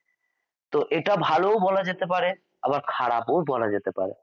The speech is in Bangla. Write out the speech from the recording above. তো এটা ভাল ও বলা যেতে আবার খারাপ ও বলা যেতে পারে ।